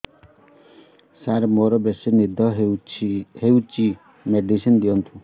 ସାର ମୋରୋ ବେସି ନିଦ ହଉଚି ମେଡିସିନ ଦିଅନ୍ତୁ